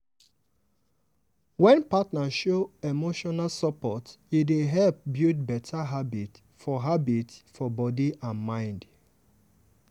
wen partner show emotional support e dey help build better habit for habit for body and mind.